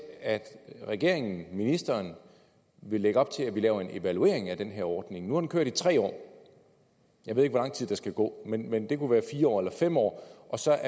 at regeringen ministeren vil lægge op til at vi laver en evaluering af den her ordning nu har den kørt i tre år jeg ved ikke hvor lang tid der skal gå men men det kunne være fire år eller fem år og så